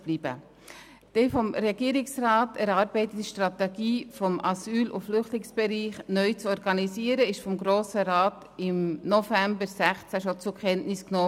Die vom Regierungsrat erarbeitete Strategie der Neuorganisation des Asyl- und Flüchtlingsbereichs wurde vom Grossen Rat schon im November 2016 zur Kenntnis genommen.